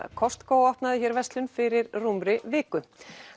Costco opnaði hér verslun fyrir rúmri viku